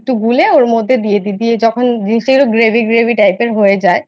একটু গুলে ওর মধ্যে দিয়ে দিই দিয়ে যখন জিনিসটা Gravy Gravy Type এর হয়ে যায়